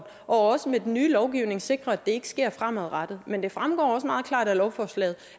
og også med den nye lovgivning sikrer at det ikke sker fremadrettet men det fremgår også meget klart af lovforslaget